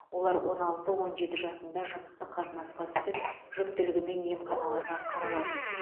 олар он алты он жеті жасында жыныстық қатынасқа түсіп жүктілігімен емханаларға қаралады